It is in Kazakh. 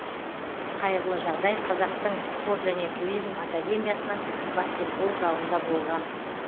қайғылы жағдай қазақтың спорт және туризм академиясының баскетбол залында болған